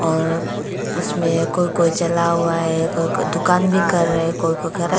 और उसमें कोई कोई चला हुआ है कोई कोई दुकान भी कर रहा है कोई कोई खड़ा --